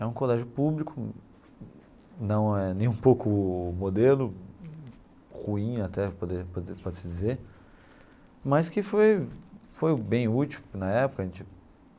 É um colégio público, não é nem um pouco modelo, ruim até, poderia poderia pode-se dizer, mas que foi foi bem útil na época a gente.